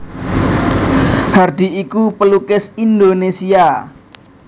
Hardi iku pelukis Indonesia